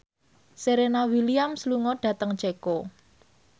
Serena Williams lunga dhateng Ceko